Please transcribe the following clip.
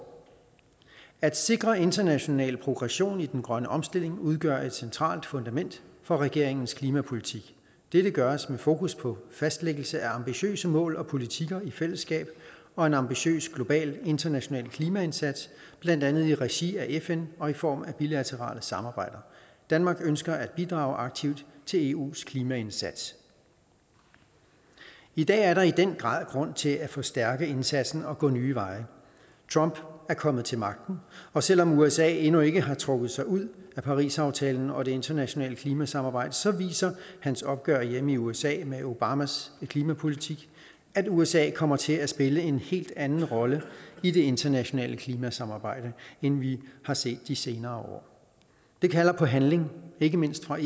at sikre international progression i den grønne omstilling udgør et centralt fundament for regeringens klimapolitik dette gøres med fokus på fastlæggelse af ambitiøse mål og politiker i fællesskab og en ambitiøs global international klimaindsats blandt andet i regi af fn og i form af bilaterale samarbejder danmark ønsker at bidrage aktivt til eu’s klimaindsats i dag er der i den grad grund til at forstærke indsatsen og gå nye veje trump er kommet til magten og selv om usa endnu ikke har trukket sig ud af parisaftalen og det internationale klimasamarbejde så viser hans opgør hjemme i usa med obamas klimapolitik at usa kommer til at spille en helt anden rolle i det internationale klimasamarbejde end vi har set de senere år det kalder på handling ikke mindst fra